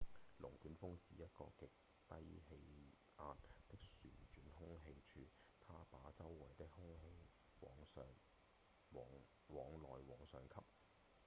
龍捲風是一個極低氣壓的旋轉空氣柱它把周圍的空氣往內、往上吸